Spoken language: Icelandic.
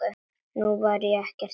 Og nú var ekkert gert.